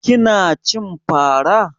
Kina cin fara